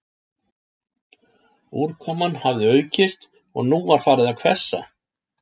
Úrkoman hafði aukist og nú var farið að hvessa